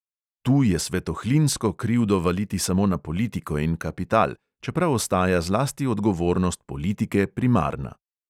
Tu je svetohlinsko krivdo valiti samo na politiko in kapital, čeprav ostaja zlasti odgovornost politike primarna.